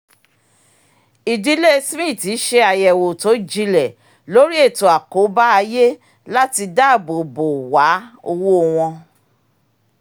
ìdílé smith ṣe àyẹ̀wò tó jinlẹ̀ lórí ètò àkóbá ayé láti dáàbò bò wàá owó wọn